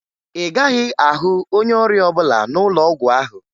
Ị gaghị ahụ onye ọrịa ọbụla n'ụlọ ọgwụ ahụ